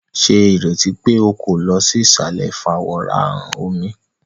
Ṣe ireti pe o ko lọ sí isalẹ ifaworanhan omí!?